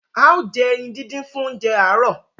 ào jé eyin dindin fún oúnjẹ aro